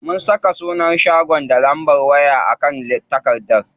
Mun saka sunan shagon da lambar waya a kan takardar.